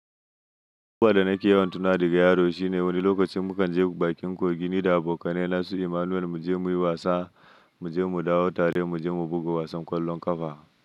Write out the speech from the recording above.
Duƙƙan da nake yawan tuna daga yaro shine wani lokacin mukan je bakin kogin ni da abokai na masu Emmanuel muje muyi wasa, muje mu dawo tare, muje mu buga wasan ƙwallon ƙafa.